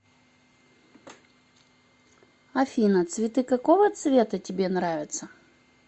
афина цветы какого цвета тебе нравятся